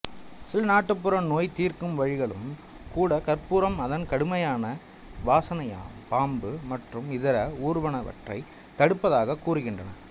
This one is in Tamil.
சில நாட்டுப்புற நோய் தீர்க்கும் வழிகளும் கூட கற்பூரம் அதன் கடுமையான வாசனையால்பாம்பு மற்றும் இதர ஊர்வனவற்றை தடுப்பதாகக் கூறுகின்றன